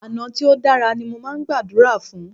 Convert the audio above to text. Àná tí o dára ní mó máà ń gbàdúrà fún.